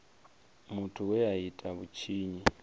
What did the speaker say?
muthu we a ita vhutshinyi